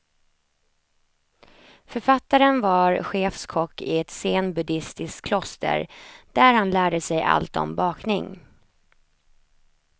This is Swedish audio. Författaren var chefskock i ett zenbuddistisk kloster, där han lärde sig allt om bakning.